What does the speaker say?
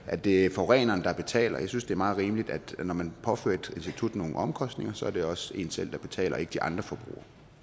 at det er forureneren der betaler jeg synes det er meget rimeligt at når man påfører et institut nogle omkostninger så er det også en selv der betaler og ikke de andre